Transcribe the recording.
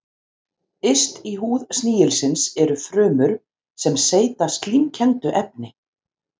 Yst í húð snigilsins eru frumur sem seyta slímkenndu efni.